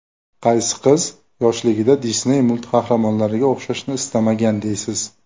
Qaysi qiz yoshligida Disney multqahramonlariga o‘xshashni istamagan deysiz?